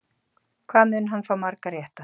Hvað mun hann fá marga rétta?